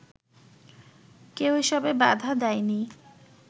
কেউ এসবে বাধা দেয়নি